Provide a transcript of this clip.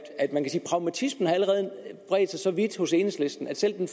pragmatismen allerede har bredt sig så vidt hos enhedslisten at selv den